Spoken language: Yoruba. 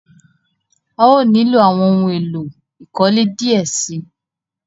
À yóò nílọ awọn ohun èlò ìkọ́lé díẹ̀ sí.